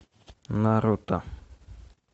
наруто